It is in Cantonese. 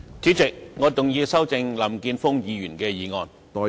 主席，我動議修正林健鋒議員的議案。